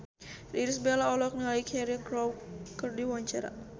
Irish Bella olohok ningali Cheryl Crow keur diwawancara